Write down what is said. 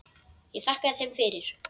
Ég þakkaði þeim fyrir.